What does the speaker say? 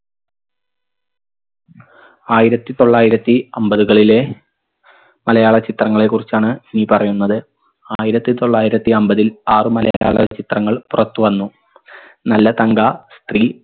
ആയിരത്തി തൊള്ളായിരത്തി അമ്പതുകളിലെ മലയാള ചിത്രങ്ങളെ കുറിച്ചാണ് ഇനി പറയുന്നത് ആയിരത്തി തൊള്ളായിരത്തി അമ്പതിൽ ആറു മലയാള ചിത്രങ്ങൾ പുറത്തു വന്നു നല്ല തങ്ക സ്ത്രീ